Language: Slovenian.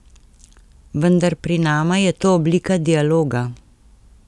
Vendar pri nama je to oblika dialoga.